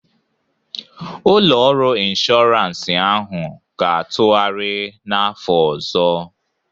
Ụlọ ọrụ inshọransị ahụ ga-atụgharị n'afọ ọzọ